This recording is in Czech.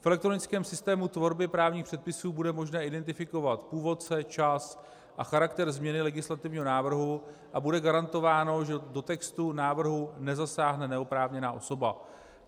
V elektronickém systému tvorby právních předpisů bude možné identifikovat původce, čas a charakter změny legislativního návrhu a bude garantováno, že do textu návrhu nezasáhne neoprávněná osoba.